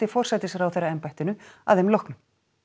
forsætisráðherraembættinu að þeim loknum